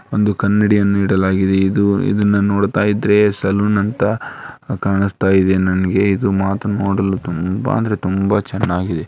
ಒಂದು ಕನ್ನಡಿಯನ್ನು ಇಡಲಾಗಿದೆ ಇದು ಇದನ್ನು ನೋಡುತ್ತಾ ಇದ್ದರೆ ಸಲೂನ್ ಅಂಥಾ ಕಾಣಿಸುತ್ತದೆ ನನಗೆ ಇದು ಮಾತ್ರ ನೋಡಲು ತುಂಬಾ ಅಂದರೆ ತುಂಬಾ ಚೆನ್ನಾಗಿದೆ.